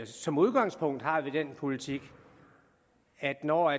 som udgangspunkt har vi den politik at når